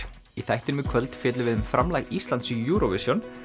í þættinum í kvöld fjöllum við um framlag Íslands í Eurovision